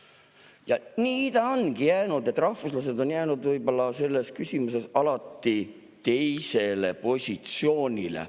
Ja nii ongi juhtunud, et rahvuslased on jäänud võib-olla selles küsimuses alati teisele positsioonile.